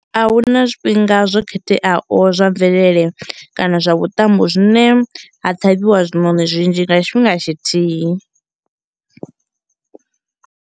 A huna zwifhinga zwo khetheaho zwa mvelele kana zwa vhuṱambo zwine ha ṱhavhiwa zwiṋoni zwinzhi nga tshifhinga tshithihi.